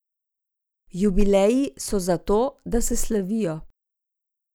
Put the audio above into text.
Jubileji so zato, da se slavijo.